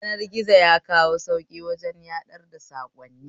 Yanar gizo yakawo sauƙi wajen sadar da saƙonni